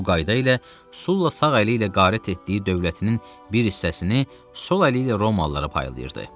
Bu qayda ilə Sulla sağ əli ilə qaret etdiyi dövlətinin bir hissəsini, sol əli ilə Romalılara paylayırdı.